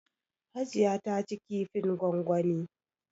Hajiya ta ci kifin gwangwani.